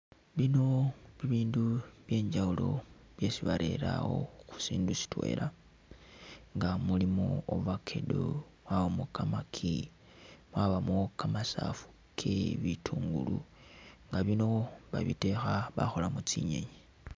Bino bibindu byenjawulo byesi barere awo khu sindu sitwela, nga mulimo avacado, mwabamu kamaki, mwabamu kamasaafu ke bitungulu, nga bino babitekha bakholamu tsinyenyi.